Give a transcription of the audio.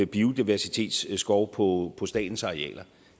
biodiversitetsskov på statens arealer